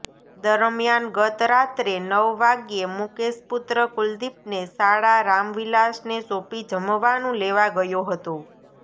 દરમિયાન ગતરાત્રે નવ વાગ્યે મુકેશ પુત્ર કુલદીપને સાળા રામવિલાસને સોંપી જમવાનું લેવા ગયો હતો